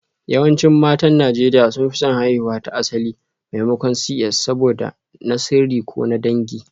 Yawancin matan Najeriya sun fi son haihuwa ta asali maimakon CS saboda na sirri ko na dangi